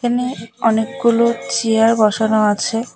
একানে অনেকগুলো চেয়ার বসানো আছে।